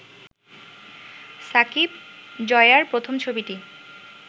সাকিব-জয়ার প্রথম ছবিটি